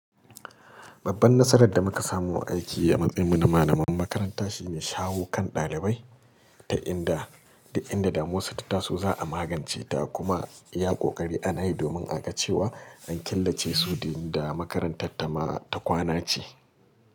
Babban nasarar da muka samu a aiki a matsayin mu na malaman makaranta shi ne shawi kan ɗalibai ta inda duk inda damuwarsu tattasu za a magance ta kuma iya ƙoƙari ana yi domin a ga cewa an killace su da inda makarantar ta kwana ce.